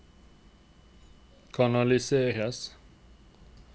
kanaliseres